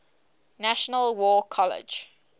national war college